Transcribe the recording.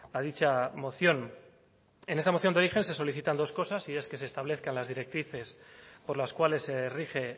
a dicha moción en esta moción de origen se solicitan dos cosas y es que se establezcan las directrices por las cuales se rige